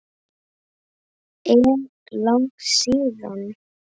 Er langt síðan?